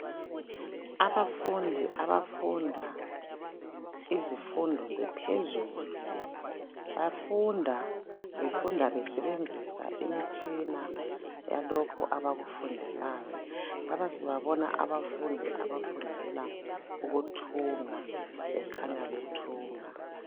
Abafundi abafunda izifundo zephezulu, bafunda befunda besebenzisa imitshina yalokhu abakufundelayo laba sibabona abafundi abafundela ukuthunga bekhanya bethunga.